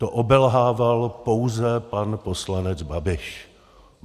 To obelhával pouze pan poslanec Babiš.